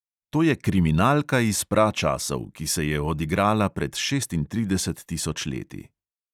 To je kriminalka iz pračasov, ki se je odigrala pred šestintrideset tisoč leti.